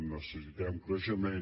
necessitem creixement